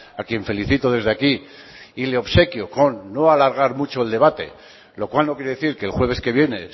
a quien felicito desde aquí y le obsequio con no alargar mucho el debate lo cual no quiere decir que el jueves que viene